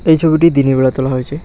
এই ছবিটি দিনের বেলা তোলা হয়েছে।